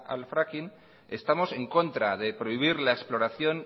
al fraking estamos en contra de prohibir la exploración